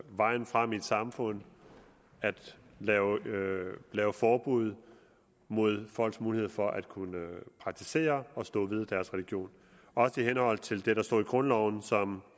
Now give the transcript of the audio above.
vejen frem i et samfund at lave lave forbud mod folks mulighed for at kunne praktisere og stå ved deres religion også i henhold til det der står i grundloven som